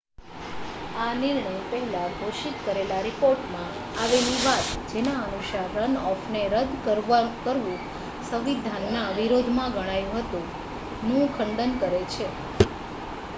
આ નિર્ણય પહેલા ઘોષિત કરેલા રિપોર્ટમાં આવેલી વાત જેના અનુસાર રન-ઑફને રદ્દ કરવુ સંવિધાનના વિરોધ માં ગણાયુ હતુ નું ખંડન કરે છે